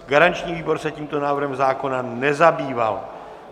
Garanční výbor se tímto návrhem zákona nezabýval.